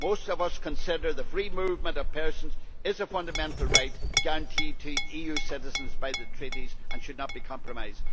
Most of us consider that the free movement of persons is a fundamental right guaranteed to EU citizens by the Treaties and that it should not be compromised.